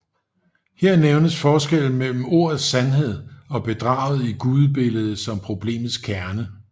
Her nævnes forskellen mellem ordets sandhed og bedraget i gudebilledet som problemets kerne